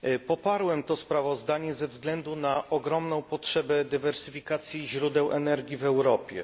Poparłem to sprawozdanie ze względu na ogromną potrzebę dywersyfikacji źródeł energii w Europie.